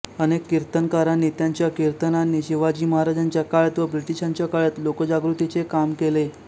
अनेक कीर्तनकारांनी त्यांच्या कीर्तनांनी शिवाजी महाराजांच्या काळात व ब्रिटिशांच्या काळात लोकजागृतीचे काम केले